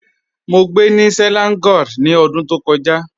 Mọ́ gbẹ́ ni Selangor ni ọ̀dún tó kọja.